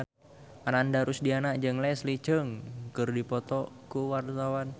Ananda Rusdiana jeung Leslie Cheung keur dipoto ku wartawan